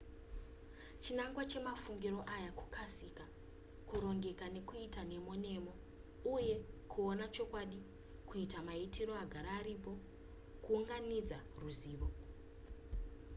chinangwa chemafungiro aya kukasika kurongeka nekuita nemo nemo uye kuona chokwadi kuita maitiro agara aripo kuunganidza ruzivo